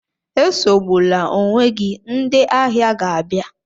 Esogbula onwe gị, ndị ahịa ga-abịa.